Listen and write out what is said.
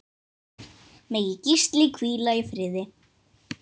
Megi Gísli hvíla í friði.